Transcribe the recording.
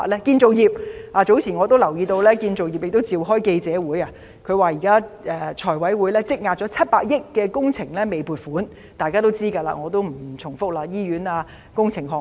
建造業方面，我早前留意到業界召開了記者會，說現時財委會積壓了逾700億元的工程撥款申請未審批——這是大家都知道的事，我不重複了——例如醫院重建等工程項目。